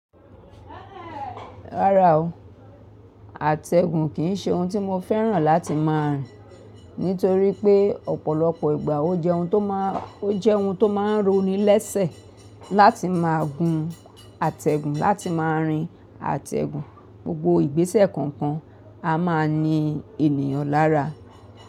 Rárá o, àtẹ̀gùn kì í se ohun tí mo fẹ́ràn láti má a rìn, nítorí pé ọ̀pọ̀lọpọ̀ ìgbà o jẹ ohun to máa ó jẹ́ ohun tó máa ń ronilẹ́sẹ̀ láti má a gun atẹ́gùn, láti má a rin atẹ́gùn, gbogbo ìgbésẹ̀ kọ̀ọ̀kan a má a ní ènìyàn lára.